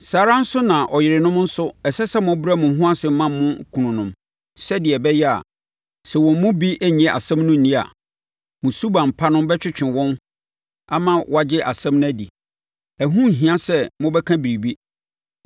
Saa ara nso na ɔyerenom nso ɛsɛ sɛ mobrɛ mo ho ase ma mo kununom sɛdeɛ ɛbɛyɛ a, sɛ wɔn mu bi nnye asɛm no nni a, mo suban pa no bɛtwetwe wɔn ama wɔagye asɛm no adi. Ɛho nhia sɛ mobɛka biribi,